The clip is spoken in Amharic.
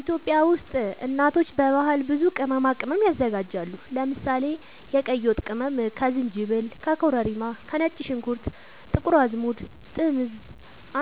ኢትዮጵያ ውስጥ እናቶች በባህል ብዙ ቅመማ ቅመም ያዘጋጃሉ። ለምሳሌ፦ የቀይ ወጥ ቅመም ከዝንጅብል፣ ከኮረሪማ፣ ከነጭ ሽንኩርት፣ ጥቁር አዝሙድ፣ ጥምዝ